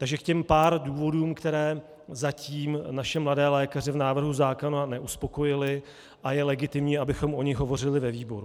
Takže k těm pár důvodům, které zatím naše mladé lékaře v návrhu zákona neuspokojily, a je legitimní, abychom o nich hovořili ve výboru.